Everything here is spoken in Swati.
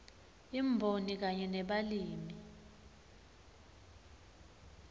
imboni kanye nebalimi